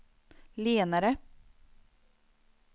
lenare